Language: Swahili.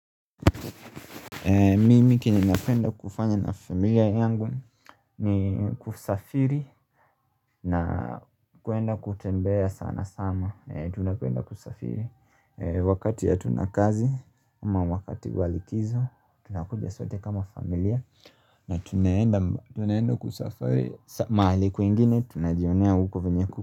Mimi kenye napenda kufanya na familia yangu ni kusafiri na kuenda kutembea sana sana Tunapenda kusafiri wakati ya hatunakazi ama wakati walikizo tunakuja sote kama familia na tunaenda kusafiri maaliku ingine tunajionea huko venye.